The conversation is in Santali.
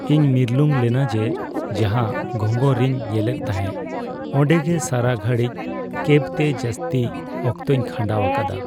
ᱤᱧ ᱢᱤᱨᱞᱩᱝ ᱞᱮᱱᱟ ᱡᱮ ᱡᱟᱸᱦᱟ ᱜᱷᱸᱜᱚᱨ ᱨᱤᱧ ᱧᱮᱞᱮᱫ ᱛᱟᱦᱮᱸ ᱚᱰᱮᱸ ᱜᱮ ᱥᱟᱨᱟ ᱜᱷᱟᱹᱲᱤᱡ ᱠᱮᱹᱵ ᱛᱮ ᱡᱟᱹᱥᱛᱤ ᱚᱠᱛᱚᱧ ᱠᱷᱟᱸᱰᱟᱣ ᱟᱠᱟᱫᱟ ᱾